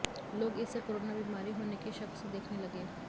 लोग इसे कोरोना बिमारी होने के शक से देखने लगे